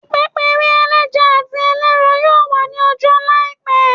Ipepere eleja ati eleran yoo wa ni ọja laipẹ